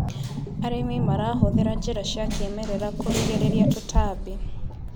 Arĩmi marahũthĩra njĩra cia kĩmerera kũrigĩrĩria tũtambi.